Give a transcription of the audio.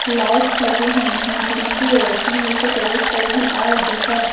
Lights लगी हुई है जिनकी रोशनी नीचे टेबल्स पर भी आ रही है।